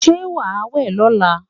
Ṣé wàá wẹ̀ lọ́la?